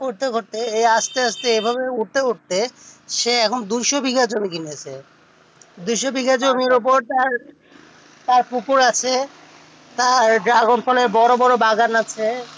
করতে করতে এ আস্তে আস্তে এই ভাবে উঠেতে উঠেতে সে এখন দুশো বিঘা জমি কিনেছে দুশো বিঘার জমির ওপর তার পুকুর আছে যার ফলের বড়ো বড়ো বাগান আছে ফলে